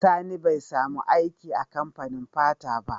Sani be samu aiki a kamfanin fanta ba